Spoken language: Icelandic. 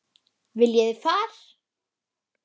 Viljið þið far?